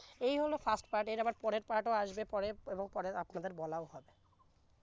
এই হল fast part এর আবার পরের part ও আসবে পরে এবং পরে আপনাদের বলাও হবে